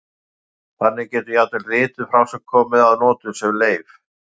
Þannig getur jafnvel rituð frásögn komið að notum sem leif.